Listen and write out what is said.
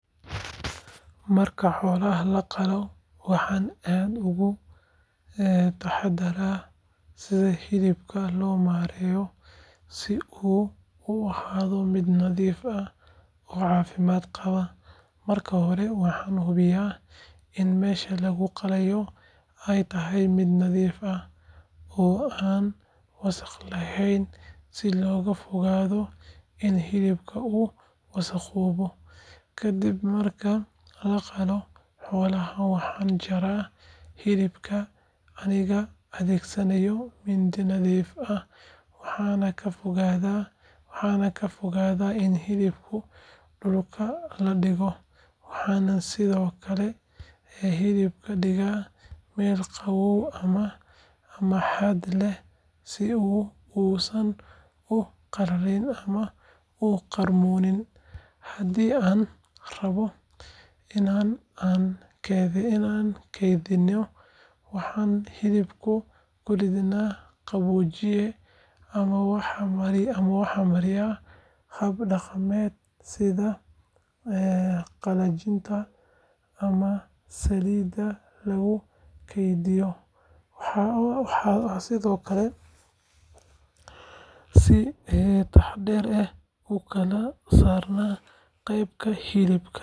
Marka xoolaha la qalo, waxaan aad uga taxaddaraa sida hilibka loo maareeyo si uu u ahaado mid nadiif ah oo caafimaad qaba. Marka hore, waxaan hubiyaa in meesha lagu qalayo ay tahay mid nadiif ah, oo aan wasakh lahayn, si looga fogaado in hilibka uu wasakhoobo. Kadib marka la qalo xoolaha, waxaan jaraa hilibka anigoo adeegsanaya mindi nadiif ah, waxaanan ka fogaadaa in hilibka dhulka la dhigo. Waxaan sidoo kale hilibka dhigaa meel qabow ama hadh leh si uu uusan u qallalin ama u qarmuunin. Haddii aan rabno in aan kaydino, waxaan hilibka ku dhignaa qaboojiye ama waxaan mariyaa hab dhaqameed sida qallajinta ama saliidda lagu kaydiyo. Waxaan sidoo kale si taxaddar leh u kala saaraa qaybaha hilibka.